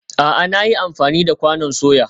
A'a, na yi amfani da kwanon soya